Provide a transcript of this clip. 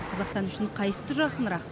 қазақстан үшін қайсысы жақынырақ